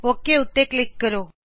okay ਉੱਤੇ click ਕਰੋਂ